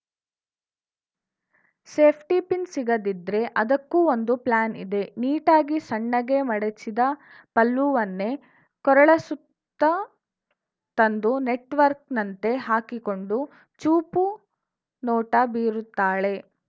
safety pin ಸಿಗದಿದ್ರೆ ಅದಕ್ಕೂ ಒಂದು ಪ್ಲಾನ್‌ ಇದೆ ನೀಟಾಗಿ ಸಣ್ಣಗೆ ಮಡಚಿದ ಪಲ್ಲುವನ್ನೇ ಕೊರಳ ಸುತ್ತ ತಂದು ನೆಟ್ ವರ್ಕ್ ನಂತೆ ಹಾಕಿಕೊಂಡು ಚೂಪು ನೋಟ ಬೀರುತ್ತಾಳೆ